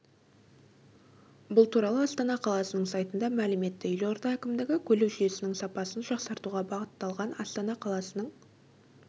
бұл туралы астана қаласының сайтында мәлім етті елорда әкімдігі көлік жүйесінің сапасын жақсартуға бағыталған астана қаласының